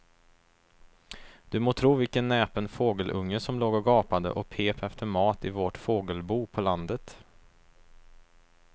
Du må tro vilken näpen fågelunge som låg och gapade och pep efter mat i vårt fågelbo på landet.